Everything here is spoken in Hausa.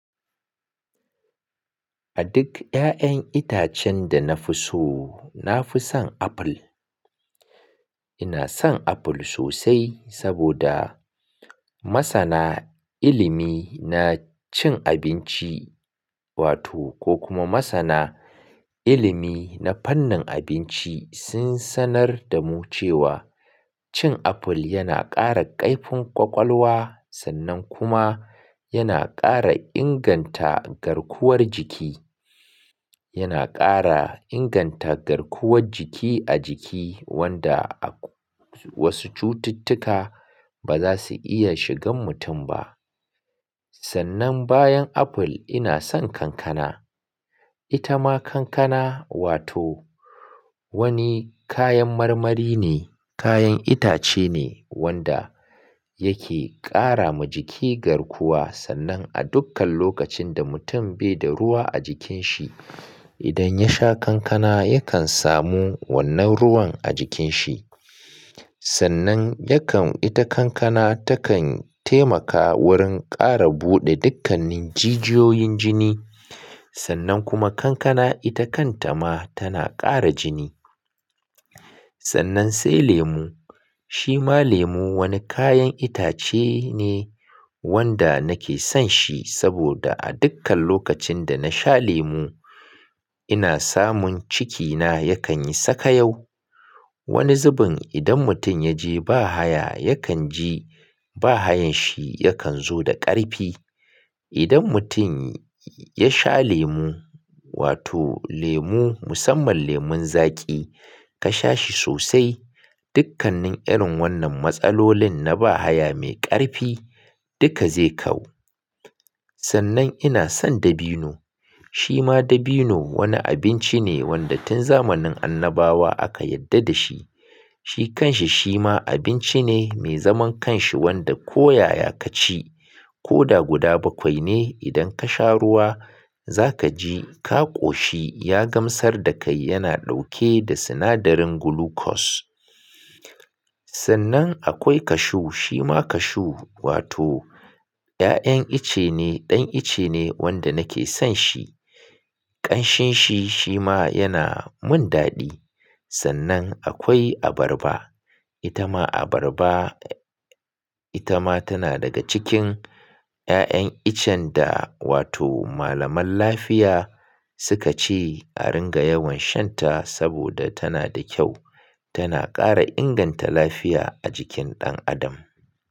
A duk ƴaƴan itacen da na fi so, na fi son aful. Ina son aful sosai saboda masana ilimi na cin abinci wato ko kuma masana ilimi na fannin abinci sun sanar da mu cewa cin aful yana ƙara ƙaifin ƙwaƙwalwa sannan kuma yana ƙara inganta garkuwar jiki, yana ƙara inganta garkuwar jiki a jiki wanda wasu cututtuka ba za su iya shigan mutum ba. Sannan bayan aful ina son kankana. Ita ma kankana wato wani kayan marmari ne, kayan itace ne wanda yake ƙara ma jiki garkuwa sannan a dukkan lokacin da mutum bai da ruwa a jikin shi, idan ya sha kankana yakan samu wannan ruwan a jikin shi. Sannan yakan ita kankana takan taimaka wurin ƙara buɗe dukkanin jijiyoyin jini sannan kuma kankana ita kanta ma tana ƙara jini. Sannan sai lemu. Shi ma lemu wani kayan itace ne wanda nake son shi saboda a dukkan lokacin da na sha lemu ina samun cikina yakan yi saka yau. Wani zubin idan mutum ya je ba haya, yakan ji ba hayan shi yakan zo da ƙarfi. Idan mutum ya sha lemu wato lemu, musamman lemon zaƙi ka sha shi sosai, dukkanin irin wannan matsalolin na ba haya mai ƙarfi duka zai kau. Sannan ina son dabino. Shi ma dabino wani abinci ne wanda tun zamanin annabawa aka yadda da shi. Shi kanshi shi ma abinci ne mai zaman kanshi wanda ko yaya ka ci, ko da guda bakwai ne idan ka sha ruwa za ka ji ka ƙoshi ya gamsar da kai yana ɗauke da sinadarin gulukos. Sannan akwai kashu. Shi ma kashu wato ƴaƴan ice ne, ɗan ice ne wanda nake son shi. Ƙanshinshi shi ma yana mun daɗi. Sannan akwai abarba. Ita ma abarba, ita ma tana daga cikin ƴaƴan icen da wato malaman lafiya suka ce a ringa yawan shan ta saboda tana da kyau. Tana ƙara inganta lafiya a jikin ɗan adam.